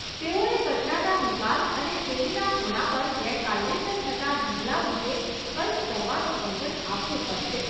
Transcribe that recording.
તેઓએ કચરાના નિકાલ અને શેરીના ખૂણા પર ગેરકાયદેસર થતાં ઢગલા વિશે કંઈક કરવાનું વચન આપવું પડશે.